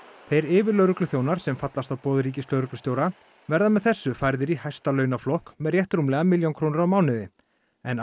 þeir yfirlögregluþjónar sem fallast á boð ríkislögreglustjóra verða með þessu færðir í hæsta launaflokk með rétt rúmlega milljón krónur á mánuði en